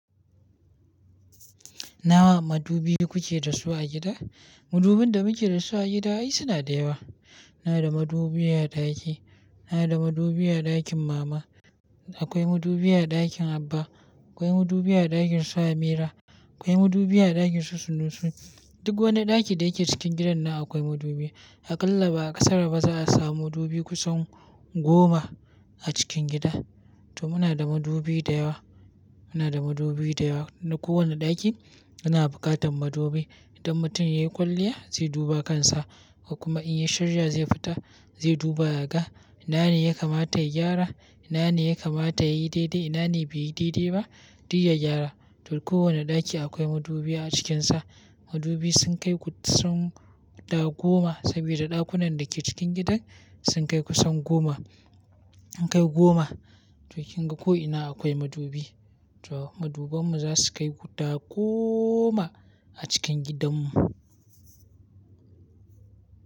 Nawa madubi kuke da su a gida? Madubin da muke da su a gida ai suna da yawa. Ina da madubi a ɗaki, ina da madubi a ɗakin mama. Akwai madubi a ɗakin abba. Akwai madubi a ɗakin su Amira. Akwai madubi a ɗakin su Sunusu. Duk wani ɗaki da yake cikin gidan nan akwai madubi. Aƙalla ba a ƙasar mu ba za a samu madubi kusan goma a cikin gida. To muna da madubi da yawa. Muna da madubi da yawa na kowane ɗaki. Muna buƙatan madubi. Idan mutum ya yi kwalliya zai duba kansa, kuma in yi shirya zai fita zai duba yaga. Ina ne ya kamata ya gyara? Ina ne ya kamata ya yi daidai? Ina ne bai yi daidai ba? Dik ya gyara. To kowane ɗaki akwai madubi a cikinsa. Madubi sun kai kusan guda goma, saboda ɗakunan da ke cikin gidan sun kai kusan goma. Sun kai goma. To kinga ko'ina akwai madubi. To maduban mu za su kai guda goma a cikin gidan mu.